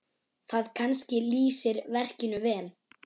Það kannski lýsir verkinu vel.